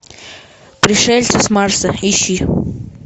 пришельцы с марса ищи